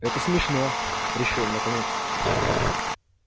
это смешно решил он наконец-то